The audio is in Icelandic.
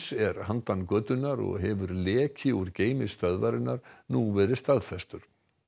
er handan götunnar og hefur leki úr geymi stöðvarinnar nú verið staðfestur